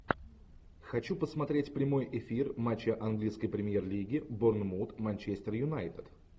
хочу посмотреть прямой эфир матча английской премьер лиги борнмут манчестер юнайтед